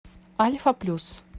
альфа плюс